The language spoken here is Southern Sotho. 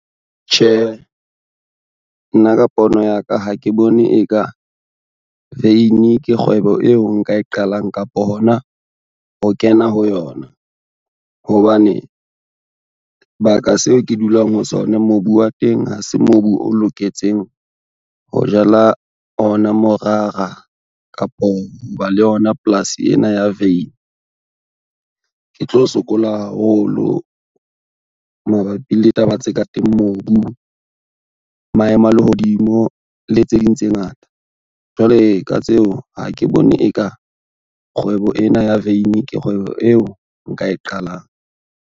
Tjhe, nna ka pono ya ka ha ke bone e ka, veini ke kgwebo eo nka e qalang kapo hona ho kena ho yona, hobane baka seo ke dulang ho sona mobu wa teng ha se mobu o loketseng ho jala ona morara kapo ho ba le yona polasi ena ya veini. Ke tlo sokola haholo mabapi le taba tse ka mobu, maemo a lehodimo le tse ding tse ngata, jwale ka tseo ha ke bone e ka kgwebo ena ya veini ke kgwebo eo nka e qalang.